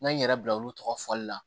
N ye n yɛrɛ bila olu tɔgɔ fɔli la